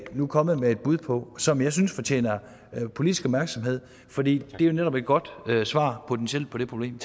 nu kommet med et bud på som jeg synes fortjener politisk opmærksomhed fordi det jo netop er et godt svar potentielt på det problem